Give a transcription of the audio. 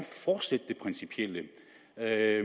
er